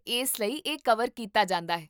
ਇਸ ਲਈ ਇਹ ਕਵਰ ਕੀਤਾ ਜਾਂਦਾ ਹੈ